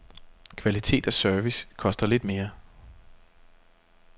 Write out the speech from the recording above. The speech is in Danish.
Kvalitet og service koster lidt mere.